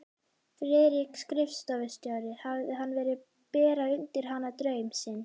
Friðrik skrifstofustjóri hafði verið að bera undir hana draum sinn.